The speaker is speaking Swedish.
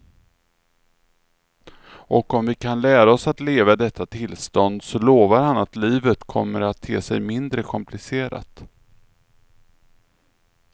Och om vi kan lära oss att leva i detta tillstånd så lovar han att livet kommer att te sig mindre komplicerat.